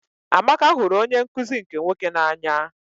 Amaka hụrụ onye nkụzi nke nwoke n'anya.